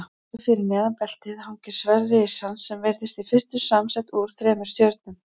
Nokkru fyrir neðan beltið hangir sverð risans sem virðist í fyrstu samsett úr þremur stjörnum.